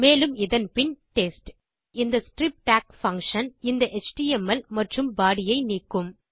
மேலும் இதன் பின் டெஸ்ட் இப்போது இந்த ஸ்ட்ரிப் டாக் பங்ஷன் இந்த எச்டிஎம்எல் மற்றும் பாடி ஐ நீக்கும்